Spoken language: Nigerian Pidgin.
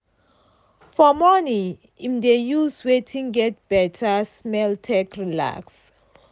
fo rmorning im dey use wetin get better smell take relax.